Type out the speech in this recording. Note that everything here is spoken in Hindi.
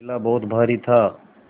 थैला बहुत भारी था